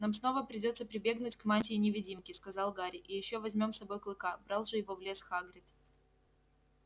нам снова придётся прибегнуть к мантии-невидимке сказал гарри и ещё возьмём с собой клыка брал же его в лес хагрид